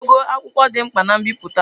Ogo akwụkwọ dị mkpa na mbipụta.